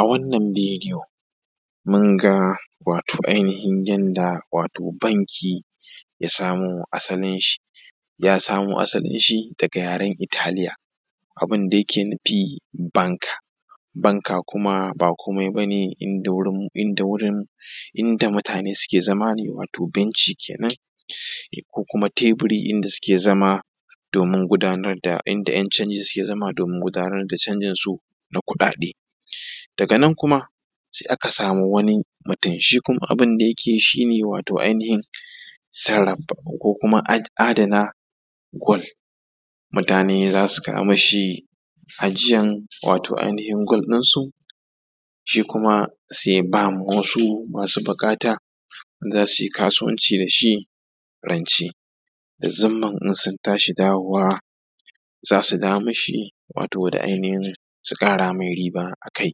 A wannan bidiyo mun ga wato ainihin yanda banki ya samo asalin shi, ya samo asalin shi daga yaren Italiya. Abun da yake nufi banka yana nufin inda mutane ke zama ne ko kuma teburi, inda ’yan canji suke zama domin gudanar da canjin su na kuɗaɗe. Daga nan kuma sai aka samu wani mutum shi kuma abun da yake yi shi ne wato adana gold, mutane za su kawo mishi ajiyan gold ɗin su shi kuma sai ya ba wasu masu buƙata wanda za su yi kasuwanci da shi rance da zumman in sun tashi dawo da shi su dawo da riba a kai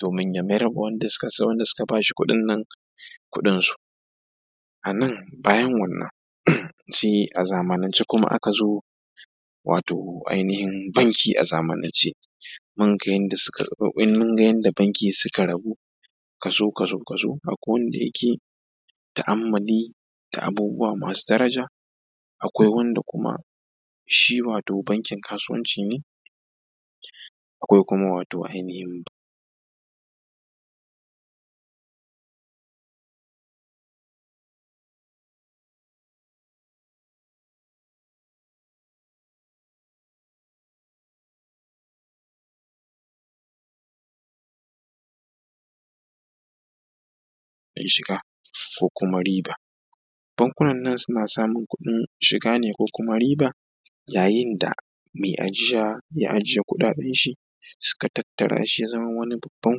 domin ya mayar ma wanda suka ba shi kuɗin nan da kuɗin su. Bayan wannan a zamanance kuma aka zo banki. A zamanance mun ga yanda banki suka rabu kashi-kashi, akwai wanda yake ta’ammuli da abubuwa masu daraja, akwai kuma wanda shi bankin kasuwanci ne, akwai kuma wato ainihin masu samun kuɗin shiga ko kuma riba. Bankunan nan suna samun kuɗin shiga ne ko kuma riba yayin da mai ajiya ya ajiye kuɗaɗen shi, suka tattara shi ya zama wani babban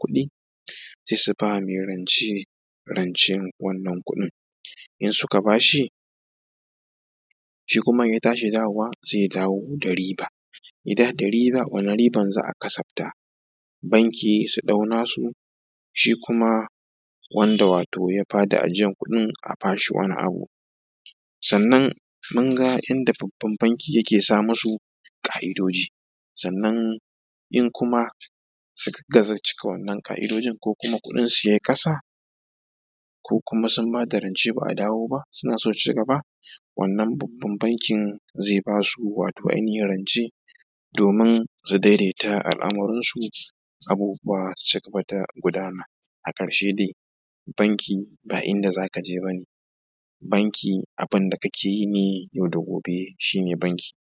kuɗi, se su ba wa mai rance rancen wannan kuɗin, shi kuma in ya tashi dawowa sai ya dawo da riba. Wannan riban za a kasafta banki su ɗau nasu shi kuma wanda ya ba da ajiyan kuɗin a ba shi. Wani abu sannan mun ga yanda babban banki yake sa musu ka’idoji sannan kuma in suka gaza cika wannan ka’idoji ko kuma kuɗin su ya yi ƙasa ko kuma sun bada rance ba a dawo ba suna so su ci gaba, wannan babban bankin zai ba su rance domin su daidaita al’amarin su abubuwa su cigaba da gudana. A ƙarshe dai banki ba inda za ka je ba ne, abubuwan da kake yi yau da gobe shi ne banki.